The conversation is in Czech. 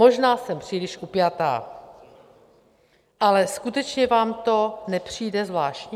Možná jsem příliš upjatá, ale skutečně vám to nepřijde zvláštní?